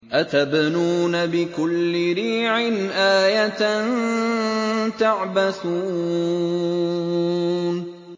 أَتَبْنُونَ بِكُلِّ رِيعٍ آيَةً تَعْبَثُونَ